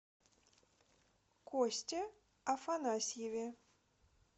косте афанасьеве